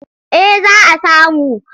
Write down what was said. Eh za a samu.